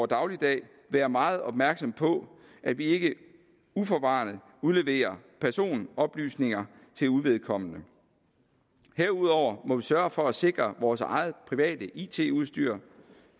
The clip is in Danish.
dagligdag være meget opmærksomme på at vi ikke uforvarende udleverer personoplysninger til uvedkommende herudover må vi sørge for at sikre vores eget private it udstyr